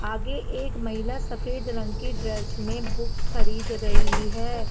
आगे एक महिला सफेद रंग की ड्रेस में बुक्स खरीद रही है।